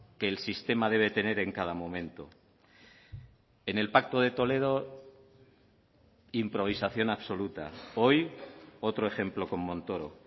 que el sistema debe tener en cada momento en el pacto de toledo improvisación absoluta hoy otro ejemplo con montoro